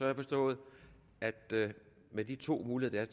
jeg forstået at det med de to muligheder